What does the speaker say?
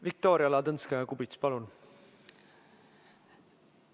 Viktoria Ladõnskaja-Kubits, palun!